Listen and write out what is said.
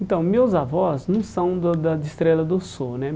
Então, meus avós não são do da de Estrela do Sul, né?